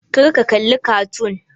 Kar ka kalli kartoon!